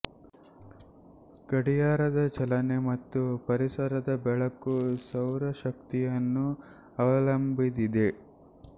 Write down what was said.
ಗಡಿಯಾರದ ಚಲನೆ ಮತ್ತು ಪರಿಸರದ ಬೆಳಕು ಸೌರ ಶಕ್ತಿಯನ್ನು ಅವಲಂಭಿದಿದೆ